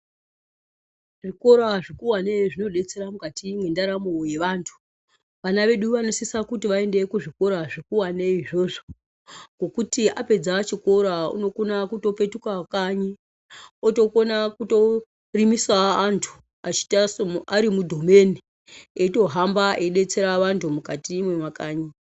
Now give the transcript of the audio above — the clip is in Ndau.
Zvikora zvikuvane zvinodetsera mukati mwendaramo yevantu. Vana vedu vanosise kuti vaende kuzvikora zvikuvane izvozvo ngokuti apedza chikora unokona kutopetuka kanyi otokona kutorimisawo antu arimudhomeni eitohamba eidetsera vantu mukati mwemakanyi.